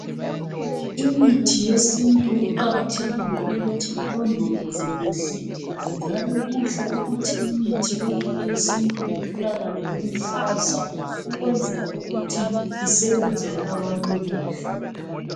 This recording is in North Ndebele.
Imithi yesintu kuqakathekile ukuthi ilondolozwe kuhle, njalo kuhle ukuthi imithi yonke yesintu itholakale iluhlaza ukwenzela ukuthi isebenzele abantu kuhle.